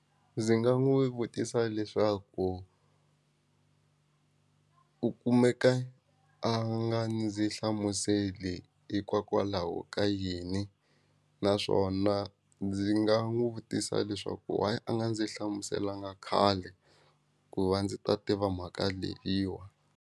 Ndzi nga n'wi vutisa leswaku u kumeka a nga ndzi hlamuseli hikwakwalaho ka yini naswona ndzi nga n'wi vutisa leswaku why a nga ndzi hlamuselanga khale ku va ndzi ta tiva mhaka leyiwa.